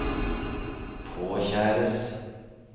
påkjæres